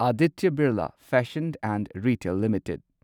Aditya Birla fashion and retail limited